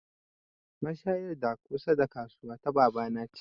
Mashayar da kusa da kasuwa ta baba na ce